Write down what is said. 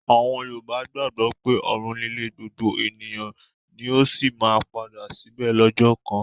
Àwọn Yorùbá gbàgbọ́ pé ọ̀run nílé gbogbo ènìyàn ni ó sì máa padà síbẹ̀ lọ́jọ́ kan.